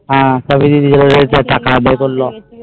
হম যাদের এতো আদর করল